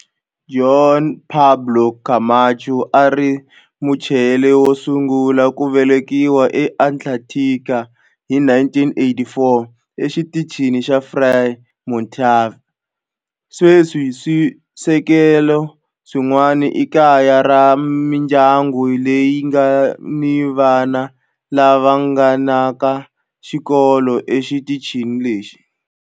Juan Pablo Camacho a a ri Muchile wo sungula ku velekiwa eAntarctica hi 1984 eXitichini xa Frei Montalva. Sweswi swisekelo swin'wana i kaya ra mindyangu leyi nga ni vana lava nghenaka xikolo exitichini lexi.